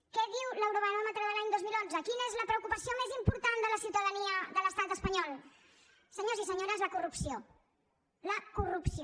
què diu l’eurobaròmetre de l’any dos mil onze quina és la preocupació més important de la ciutadania de l’estat espanyol senyors i senyores la corrupció la corrupció